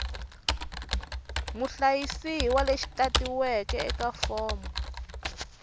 muhlayisiwa lexi tatiweke eka fomo